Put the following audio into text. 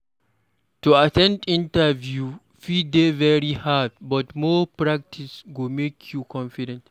To at ten d interviews fit dey very hard, but more practice go make you confident.